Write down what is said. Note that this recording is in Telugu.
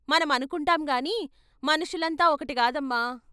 మనం అనుకుంటాం గాని మనుషులంతా ఒకటి గాదమ్మా!